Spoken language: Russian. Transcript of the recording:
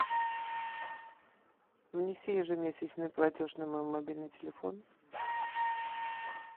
внеси ежемесячный платеж на мой мобильный телефон